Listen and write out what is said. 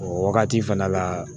O wagati fɛnɛ la